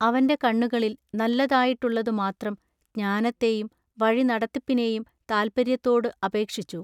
അവന്റെ കണ്ണുകളിൽ നല്ലതായിട്ടുള്ളതു മാത്രം ജ്ഞാനത്തേയും വഴി നടത്തിപ്പിനേയും താല്പൎയ്യത്തോടു അപേക്ഷിച്ചു.